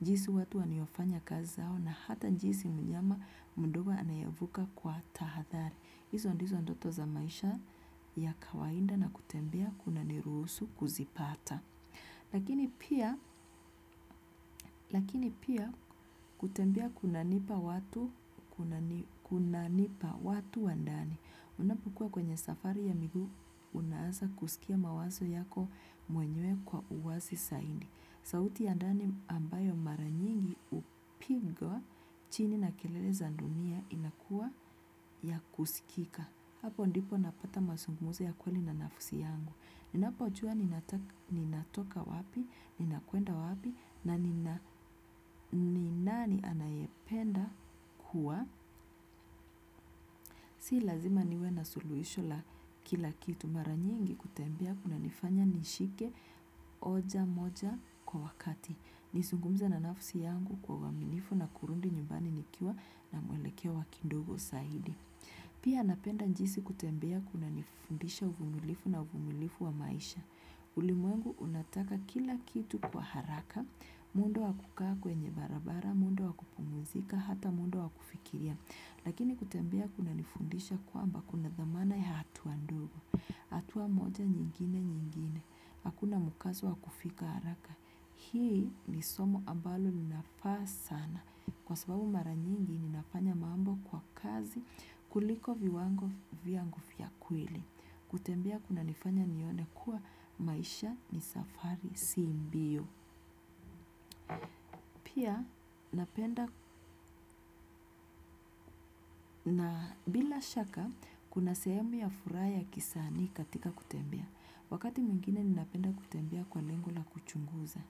jinsi watu waniofanya kazi zao na hata jinsi mnyama mdogo anayevuka kwa tahadhari. Hizo ndizo ndoto za maisha ya kawaida na kutembea kunaniruhusu kuzipata. Lakini pia kutembea kunanipa watu wandani. Unapokuwa kwenye safari ya miguu unaanza kusikia mawazo yako mwenyewe kwa uwazi zaidi. Sauti ya ndani ambayo mara nyingi hupigwa chini na kelele za dunia inakuwa ya kusikika. Hapo ndipo napata masungumuzo ya kweli na nafsi yangu. Ninapojua ninatoka wapi, ninakwenda wapi, na ni nani anayependa kuwa. Si lazima niwe na suluhisho la kila kitu mara nyingi kutembea kunanifanya nishike hoja moja kwa wakati. Nizungumze na nafsi yangu kwa uaminifu na kurudi nyumbani nikiwa na mwelekeo wakidogo zaidi. Pia napenda jinsi kutembea kunanifundisha uvumilivu na uvumilivu wa maisha. Ulimwengu unataka kila kitu kwa haraka. Mundo wa kukaa kwenye barabara, mundo wa kupumuzika, hata mundo wa kufikiria. Lakini kutambea kunanifundisha kwamba kuna dhamana ya hatua ndogo, hatua moja nyingine nyingine, hakuna mkazo wa kufika haraka. Hii ni somo ambalo linafaa sana kwa sababu mara nyingi ninafanya mambo kwa kazi kuliko viwango vyangu vya kweli. Kutembea kunanifanya nione kuwa maisha ni safari si mbio. Pia napenda na bila shaka kuna sehemu ya furaha ya kisanii katika kutembea. Wakati mwingine ninapenda kutembea kwa lengo la kuchunguza.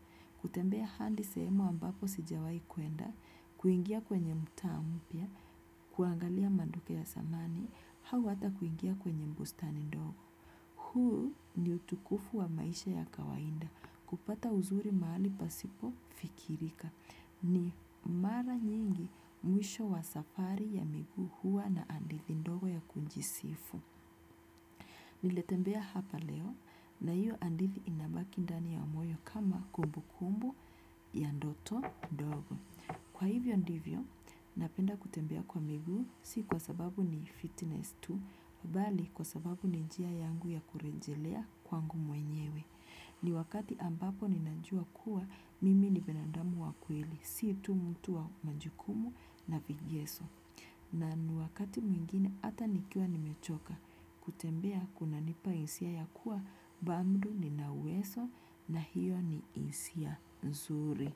Kutembea hadi sehemu ambapo sijawahikwenda kuingia kwenye mtaa mpya kuangalia maduka ya zamani au ata kuingia kwenye bustani ndogo. Ulimwengu unataka kila kitu kwa haraka. Kupata uzuri mahali pasipo fikirika. Ni mara nyingi mwisho wa safari ya miguu huwa na hadithi ndogo ya kujisifu. Nilitembea hapa leo na hiyo hadithi inabaki ndani ya moyo kama kumbukumbu ya ndoto ndogo. Kwa hivyo ndivyo, napenda kutembea kwa miguu si kwa sababu ni fitness tu, bali kwa sababu ni njia yangu ya kurejelea kwangu mwenyewe. Ni wakati ambapo ninajua kuwa mimi ni binadamu wa kweli, si tu mtu wa majukumu na vigeso. Na ni wakati mwingine ata nikiwa nimechoka. Kutembea kunanipa hisia ya kuwa, bado ninauwezo na hiyo ni hisia nzuri.